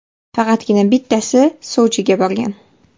Faqatgina bittasi Sochiga borgan.